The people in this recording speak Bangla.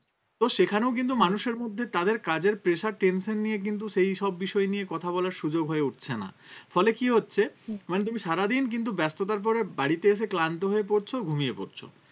তো সেখানেও কিন্তু মানুষের মধ্যে তাদের কাজের pressure tention নিয়ে কিন্তু সেই সব বিষয় নিয়ে কথা বলার সুযোগ হয়ে উঠছে না ফলে কি হচ্ছে মানে তুমি সারাদিন কিন্তু ব্যস্ততার পরে বাড়িতে এসে ক্লান্ত হয়ে পরছো ঘুমিয়ে পরছো